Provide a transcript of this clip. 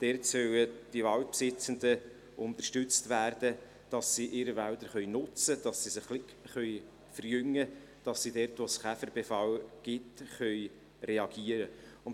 Dort sollen die Waldbesitzenden unterstützt werden, dass sie ihre Wälder nutzen können, dass sie diese ein wenig verjüngen können, dass sie dort, wo es Käferbefall gibt, reagieren können.